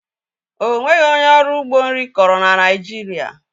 Ọ nweghị onye ọrụ ugbo nri kọrọ na Naịjirịa